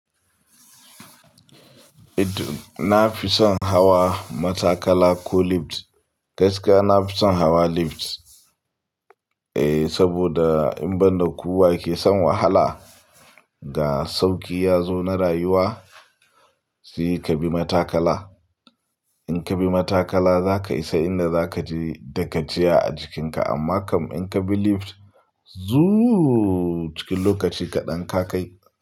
Eh to, na fi son hawa matakala ko lift. Gaskiya na fi son hawa lift, eh saboda in banda ku wa ke son wahala, ga sauki ya zo na rayuwa, sai ka bi matakala. In ka bi matakala za ka isa inda za ka je da ka je a jikinka amma kam in ka bi lift, zuuu cikin lokaci kaɗan ka kai.